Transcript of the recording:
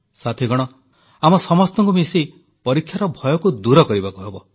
ସାଥିଗଣ ଆମ ସମସ୍ତଙ୍କୁ ମିଶି ପରୀକ୍ଷାର ଭୟକୁ ଦୂର କରିବାକୁ ହେବ